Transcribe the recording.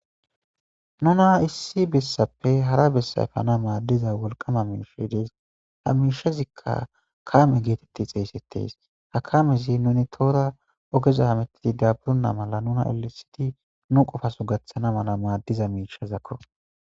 Nunna issi bessappe hara bessa efana maddida wolqqama miishi dees ha mishazikka kame gettetida eretees .Ha kamezi nun tohora ogeza hametidi daappurena mala nuna elelisidi nuna nu qofaso gattana mala maddiza misha.